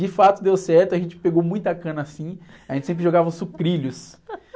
De fato, deu certo, a gente pegou muita cana assim, a gente sempre jogava sucrilhos